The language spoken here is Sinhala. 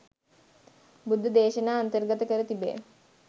බුද්ධ දේශනා අන්තර්ගත කර තිබේ.